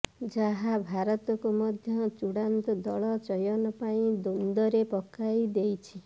ଯାହା ଭାରତକୁ ମଧ୍ୟ ଚୂଡାନ୍ତ ଦଳ ଚୟନ ପାଇଁ ଦ୍ବନ୍ଦ୍ବରେ ପକାଇ ଦେଇଛି